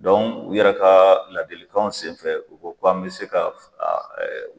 u yɛrɛ ka ladilikanw senfɛ u ko k'an mi se ka fila